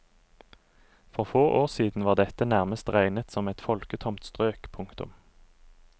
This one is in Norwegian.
For få år siden var dette nærmest regnet som et folketomt strøk. punktum